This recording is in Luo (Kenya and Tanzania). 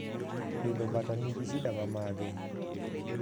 pidho bata nigi shida mamage